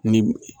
Ni